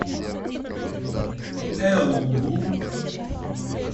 элуру